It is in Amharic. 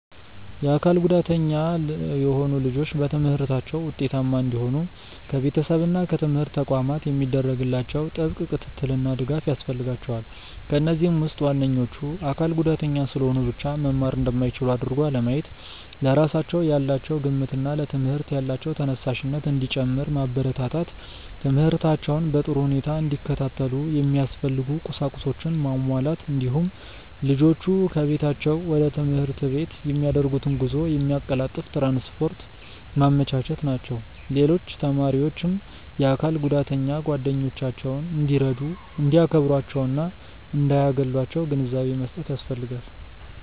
የአካል ጉዳተኛ የሆኑ ልጆች በትምህርታቸው ውጤታማ እንዲሆኑ ከቤተሰብ እና ከትምህርት ተቋማት የሚደረግላቸው ጥብቅ ክትትልና ድጋፍ ያስፈልጋቸዋል። ከነዚህም ውስጥ ዋነኞቹ:- አካል ጉዳተኛ ስለሆኑ ብቻ መማር እንደማይችሉ አድርጎ አለማየት፣ ለራሳቸው ያላቸው ግምትና ለትምህርት ያላቸው ተነሳሽነት እንዲጨምር ማበረታታት፣ ትምህርታቸውን በጥሩ ሁኔታ እንዲከታተሉ የሚያስፈልጉ ቁሳቁሶችን ማሟላት፣ እንዲሁም ልጆቹ ከቤታቸው ወደ ትምህርት ቤት የሚያደርጉትን ጉዞ የሚያቀላጥፍ ትራንስፖርት ማመቻቸት ናቸው። ሌሎች ተማሪዎችም የአካል ጉዳተኛ ጓደኞቻቸውን እንዲረዱ፣ እንዲያከብሯቸውና እንዳያገሏቸው ግንዛቤ መስጠት ያስፈልጋል።